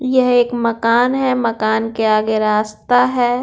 यह एक मकान है मकान के आगे रास्ता है।